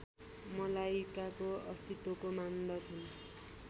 मलाइकाको अस्तित्वको मान्दछन्